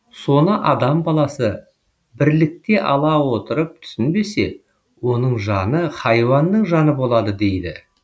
соны адам баласы бірлікте ала отырып түсінбесе оның жаны хайуанның жаны болады дейді